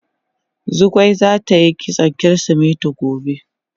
Zugwai zata yi kitson kirisimeti gobe.